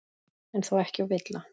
En þó ekki of illa.